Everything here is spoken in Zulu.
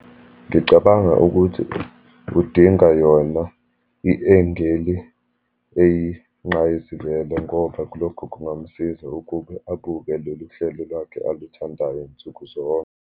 Ngicabanga ukuthi kudinga yona i-engeli eyinqayizivele ngoba kulokhu kungamsiza ukube abuke lolu hlelo lwakhe aluthandayo nsukuzonke.